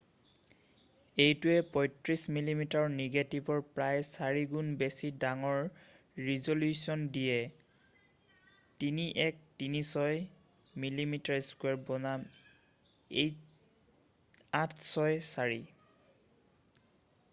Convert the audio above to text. এইটোৱে 35মিমিৰ নেগেটিভৰ প্ৰায় 4 গুণ বেছি ডাঙৰ ৰিজলিউশ্যন দিয়ে 3136 মিমি² বনাম 864।